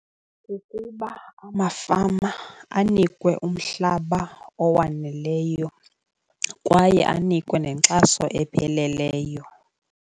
Kukuba amafama anikwe umhlaba owaneleyo kwaye anikwe nenkxaso epheleleyo.